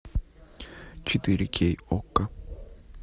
четыре кей окко